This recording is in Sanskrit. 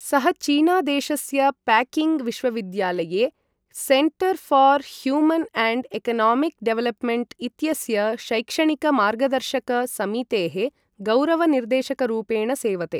सः चीनादेशस्य पेकिङ्ग् विश्वविद्यालये centre for human and economic development इत्यस्य शैक्षणिक मार्गदर्शक समितेः गौरव निर्देशकरूपेण सेवते।